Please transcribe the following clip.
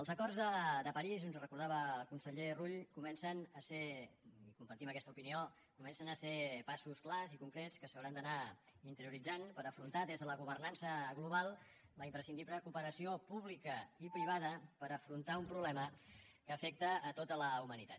els acords de parís ens ho recordava el conseller rull comencen a ser i compartim aquesta opinió passos clars i concrets que s’hauran d’anar interioritzant per afrontar des de la governança global la imprescindible cooperació pública i privada per afrontar un problema que afecta tota la humanitat